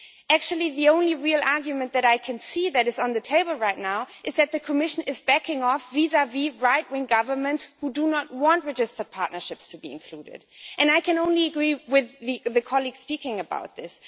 Actually, the only real argument that I can see that is on the table right now is that the Commission is backing off vis vis right wing governments who do not want registered partnerships to be included, and I can only agree with the colleagues speaking about this.